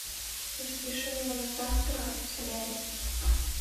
запиши меня на завтра в солярий